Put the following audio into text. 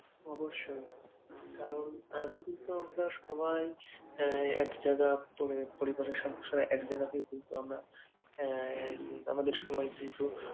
অবশ্যই কারণ আগে কিন্তু আমরা সবাই আহ এক জায়গা পরিবারের সদস্য এক জায়গাতেই কিন্তু আমরা আহ আমাদের সবাই কিন্তু